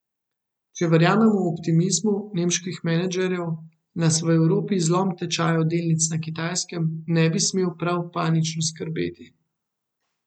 Če verjamemo optimizmu nemških menedžerjev, nas v Evropi zlom tečajev delnic na Kitajskem ne bi smel prav panično skrbeti.